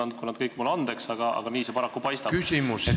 Andku nad kõik mulle andeks, aga nii see paraku paistab.